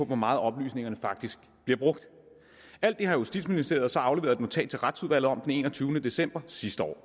hvor meget oplysningerne faktisk bliver brugt alt det har justitsministeriet så afleveret et notat til retsudvalget om den enogtyvende december sidste år